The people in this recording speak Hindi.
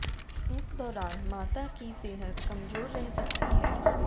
इस दौरान माता की सेहत कमजोर रह सकती है